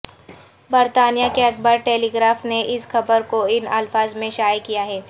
برطانیہ کے اخبار ٹیلیگراف نے اس خبر کو ان الفاظ میں شائع کیا ہے